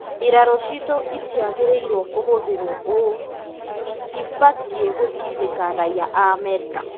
Mbirarũ citũ itiagĩrĩirwo kũhũthĩrwo ũũ itibatiĩ gũtindĩka raia a Amerika.